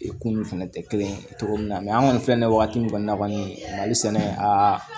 kunun fɛnɛ tɛ kelen ye cogo min na an kɔni filɛ wagati min kɔnɔna kɔni mali sɛnɛ aa